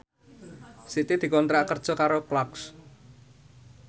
Siti dikontrak kerja karo Clarks